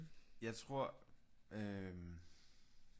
Jeg tror øh